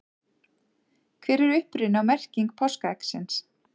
hver er uppruni og merking páskaeggsins